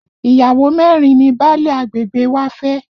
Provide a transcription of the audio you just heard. Ìyàwó mẹ́rin ni báálẹ̀ agbègbè wa fẹ́